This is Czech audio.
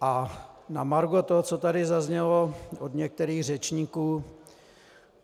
A na margo toho, co tady zaznělo od některých řečníků.